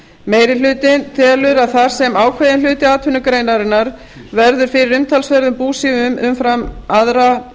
meiri hlutinn telur að þar sem ákveðinn hluti atvinnugreinarinnar verður fyrir umtalsverðum búsifjum umfram aðra